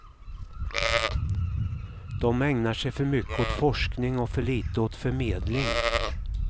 De ägnar sig för mycket åt forskning och för lite åt förmedling.